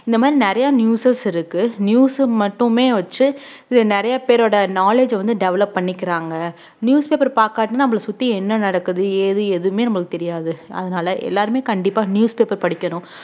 இந்த மாரி நிறைய newsers இருக்கு news மட்டுமே வச்சு இது நிறைய பேரோட knowledge அ வந்து develop பண்ணிக்கிறாங்க newspaper பார்க்காட்டியும் நம்மளை சுத்தி என்ன நடக்குது ஏது எதுவுமே நம்மளுக்கு தெரியாது அதனால எல்லாருமே கண்டிப்பா newspaper படிக்கணும்